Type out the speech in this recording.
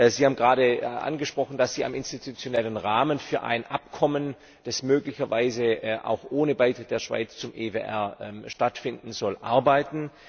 Sie haben gerade angesprochen, dass Sie am institutionellen Rahmen für ein Abkommen, das möglicherweise auch ohne Beitritt der Schweiz zum EWR stattfinden soll, arbeiten.